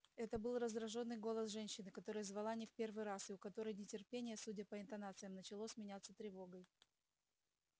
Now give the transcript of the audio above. это был раздражённый голос женщины которая звала не в первый раз и у которой нетерпение судя по интонациям начало сменяться тревогой